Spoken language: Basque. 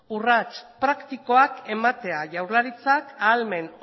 urrats praktikoak ematea jaurlaritzak ahalmen